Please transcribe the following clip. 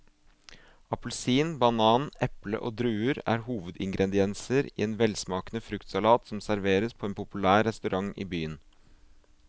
Appelsin, banan, eple og druer er hovedingredienser i en velsmakende fruktsalat som serveres på en populær restaurant i byen.